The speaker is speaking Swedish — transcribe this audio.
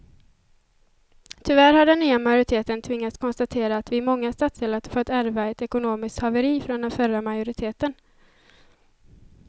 Tyvärr har den nya majoriteten tvingats konstatera att vi i många stadsdelar fått ärva ett ekonomiskt haveri från den förra majoriteten.